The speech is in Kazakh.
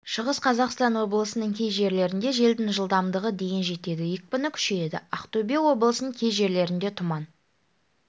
шығыс қазақстан облысының кей жерлерінде желдің жылдамдығы дейін жетеді екпіні күшейеді ақтөбе облысының кей жерлерінде тұман